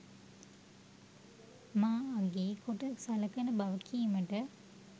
මා අගේ කොට සලකන බව කීමට